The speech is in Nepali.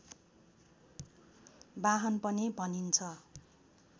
बाहन पनि भनिन्छ